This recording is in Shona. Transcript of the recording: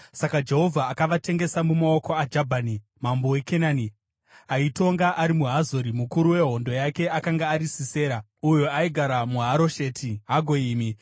Saka Jehovha akavatengesa mumaoko aJabhini, mambo weKenani, aitonga ari muHazori. Mukuru wehondo yake akanga ari Sisera, uyo aigara muHarosheti Hagoyimi.